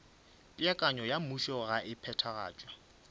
peakanyo ya mmušogae e phethagatšwa